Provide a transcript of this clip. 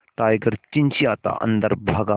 tiger चिंचिंयाता अंदर भागा